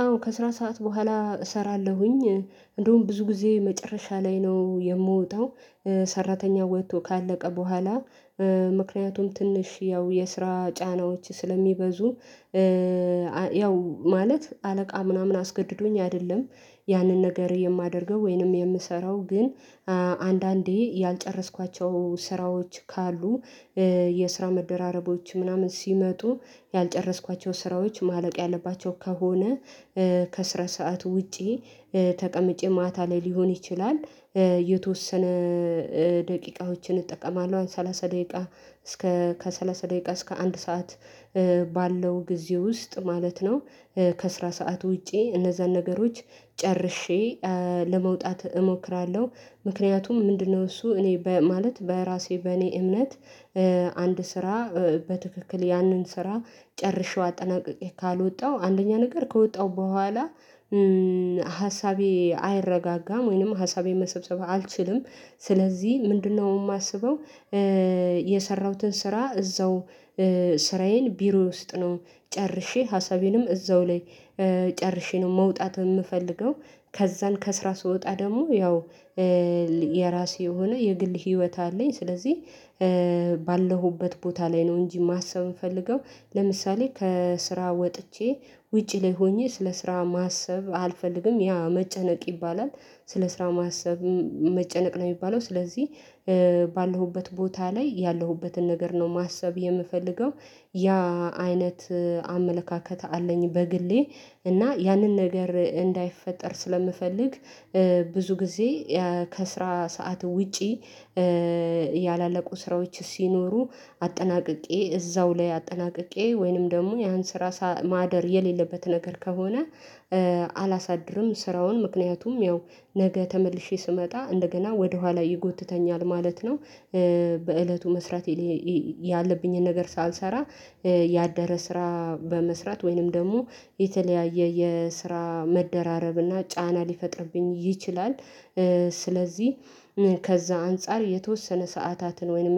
አዎ ከስራ ሰዓት በኋላ እሰራለሁኝ እንደውም ብዙ ጊዜ መጨረሻ ላይ ነው የምወጣው። ሰራተኛ ወጥቶ ካለቀ በኋላ። ምክንያቱም ትንሽ ያው የስራ ጫናዎች ስለሚበዙ። ያው ማለት አለቃ ምናምን አስገድዶኝ አይደለም። ያንን ነገር የማደርገው ወይንም የምሰራው ግን አንዳንዴ ያልጨረስኳቸው ስራዎች ካሉ የስራ መደራረቦች ምናምን ሲመጡ ያልጨረስኳቸው ስራዎች ማለቅ ያለባቸው ከሆነ ከስራ ሰዓት ውጪ ተቀምጬ ማታ ላይ ሊሆን ይችላል። የተወሰነ ደቂቃዎችን እጠቀማለሁ ሰላሳ ደቂቃ እስከ ከሠላሳ ደቂቃ እስከ አንድ ሰዓት ባለው ጊዜ ውስጥ ማለት ነው። ከስራ ሰዓት ውጪ እነዛን ነገሮች ጨርሼ ለመውጣት እሞክራለሁ። ምክንያቱም ምንድነው እሱ እኔ ማለት በራሴ በእኔ እምነት። አንድ ስራ በትክክል ያንን ስራ ጨርሼው አጠናቅቄ ካልወጣው አንደኛ ነገር ከወጣው በኋላ። ሀሳቤ አይረጋጋም ወይንም ሀሳቤ መሰብሰብ አልችልም። ስለዚህ ምንድነው የማስበው? የሰራሁትን ስራ እዛው። ስራዬን ቢሮ ውስጥ ነው ጨርሼ ሀሳቤንም እዛው ላይ ጨርሼ ነው መውጣት የምፈልገው። ከዛን ከስራ ስወጣ ደግሞ ያው የራሴ የሆነ የግል ህይወት አለኝ ስለዚህ። ካለሁበት ቦታ ላይ ነው እንጂ ማሰብ የምፈልገው። ለምሳሌ ከስራ ወጥቼ ውጪ ላይ ሆኜ ስለ ስራ ማሰብ አልፈልግም ያ መጨነቅ ይባላል። ስለ ስራ ማሰብም መጨነቅ ነው የሚባለው ስለዚህ። ባለሁበት ቦታ ላይ ያለሁበትን ነገር ነው ማሰብ የምፈልገው። ያ አይነት አመለካከት አለኝ በግሌ። እና ያንን ነገር እንዳይፈጠር ስለምፈልግ ብዙ ጊዜ። ከስራ ሰዓት ውጪ ያላለቁ ስራዎች ሲኖሩ አጠናቅቄ እዛው ላይ አጠናቅቄ ወይንም ደግሞ ያን ስራ ማደር የሌለበት ነገር ከሆነ። አላሳድርም ስራውን ምክንያቱም ያው ነገ ተመልሼ ስመጣ እንደገና ወደኋላ ይጎትተኛል ማለት ነው። በእለቱ መስራት። ያለብኝን ነገር ሳልሰራ። ያደረ ስራ በመስራት ወይንም ደግሞ የተለያየ የስራ መደራረብና ጫና ሊፈጥርብኝ ይችላል። ስለዚህ ከዛ አንፃር የተወሰነ ሰዓታትን ወይም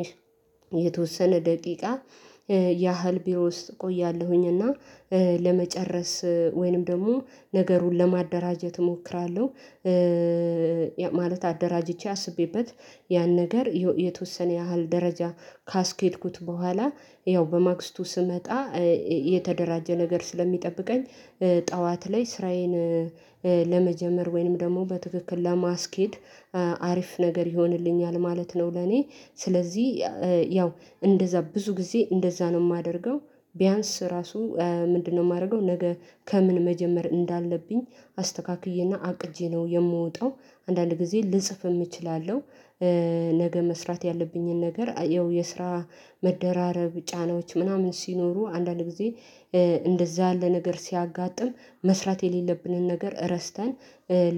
የተወሰነ ደቂቃ ያህል ቢሮ ውስጥ እቆያለሁኝ እና ለመጨረስ ወይንም ደግሞ ነገሩን ለማደራጀት እሞክራለሁ። ማለት አደራጅቼ አስቤበት ያን ነገር የተወሰነ ያህል ደረጃ ካስኬድኩት በኋላ ያው በማግስቱ ስመጣ። የተደራጀ ነገር ስለሚጠብቀኝ። ጠዋት ላይ ስራዬን ለመጀመር ወይንም ደግሞ በትክክል ለማስኬድ አሪፍ ነገር ይሆንልኛል ማለት ነው ለኔ። ስለዚህ ያው እንደዛ ብዙ ጊዜ እንደዛ ነው የማደርገው። ቢያንስ ራሱ ምንድነው? የማደርገው ነገ ከምን መጀመር እንዳለብኝ አስተካክዬና አቅጄ ነው የምወጣው። አንዳንድ ጊዜ ልጽፍ እችላለሁ። ነገ መስራት ያለብኝን ነገር ያው የስራ መደራረብ ጫናዎች ምናምን ሲኖሩ አንዳንድ ጊዜ። እንደዛ አለ ነገር ሲያጋጥም መስራት የሌለብንን ነገር ረስተን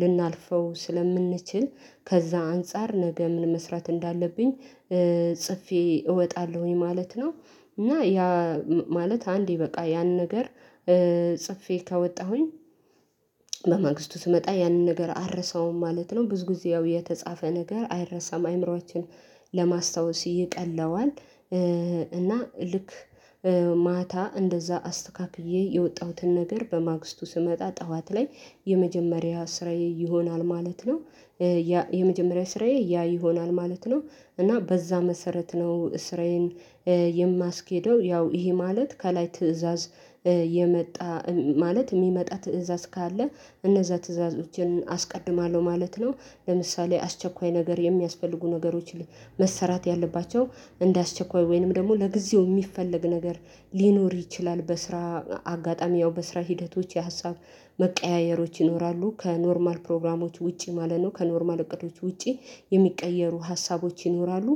ልናልፈው ስለምንችል። ከዛ አንፃር ነገ ምን መስራት እንዳለብኝ? ጽፌ እወጣለሁኝ ማለት ነው። እና ያ ማለት አንዴ በቃ ያን ነገር። ጽፌ ከወጣሁኝ። በማግስቱ ስመጣ ያንን ነገር አልረሳውም ማለት ነው ብዙ ጊዜ ያው የተጻፈ ነገር አይረሳም አእምሮአችን ለማስታወስ ይቀለዋል። እና ልክ ማታ እንደዛ አስተካክዬ የወጣሁትን ነገር በማግስቱ ስመጣ ጠዋት ላይ የመጀመሪያ ስራዬ ይሆናል ማለት ነው። የመጀመሪያ ስራዬ ያ ይሆናል ማለት ነው። እና በዛ መሰረት ነው ስራዬን። የማስኬደው ያው ይሄ ማለት ከላይ ትእዛዝ የመጣ ማለት የሚመጣ ትእዛዝ ካለ እነዛ ትዕዛዞችን አስቀድማለሁ ማለት ነው። ለምሳሌ አስቸኳይ ነገር የሚያስፈልጉ ነገሮችን መሰራት ያለባቸው እንደ አስቸኳይ ወይንም ደግሞ ለጊዜው የሚፈለግ ነገር ሊኖር ይችላል በስራ አጋጣሚ ያው በስራ ሂደቶች የሀሳብ መቀያየሮች ይኖራሉ ከኖርማል ፕሮግራሞች ውጪ ማለት ነው ከኖርማል እውቀቶች ውጪ የሚቀየሩ ሀሳቦች ይኖራሉ።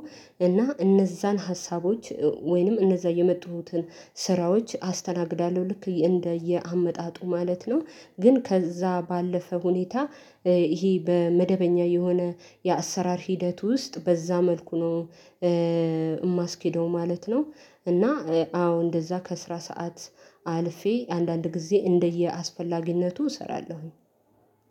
እና እነዛን ሀሳቦች ወይንም እነዛ የመጡትን ስራዎች አስተናግዳለሁ ልክ እንደየአመጣጡ ማለት ነው። ግን ከዛ ባለፈ ሁኔታ። ይሄ በመደበኛ የሆነ የአሰራር ሂደት ውስጥ በዛ መልኩ ነው። የማስኬደው ማለት ነው። እና አዎ እንደዛ ከስራ ሰዓት አልፌ አንዳንድ ጊዜ እንደየአስፈላጊነቱ እሰራለሁኝ።